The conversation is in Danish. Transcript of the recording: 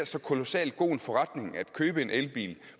så kolossal god forretning at købe en elbiler